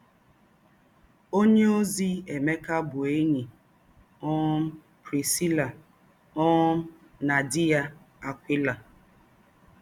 Ònyéòzí Èmékà bụ́ ényí um Priscilla um na dì̄ yà, Akwìlá